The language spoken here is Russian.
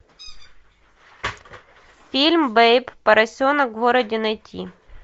фильм бэйб поросенок в городе найти